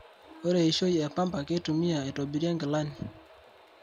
Ore eishoi e pamba keitumia aitobirie ngilani.